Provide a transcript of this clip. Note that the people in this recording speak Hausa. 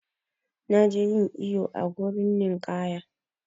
Na je yin iyo a wurin ninƙaya.